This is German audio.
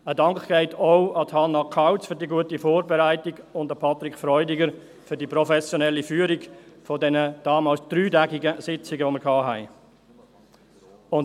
Ein Dank geht auch an Hannah Kauz für die gute Vorbereitung und an Patrick Freudiger für die professionelle Führung der dreitägigen Sitzungen, die wir hatten.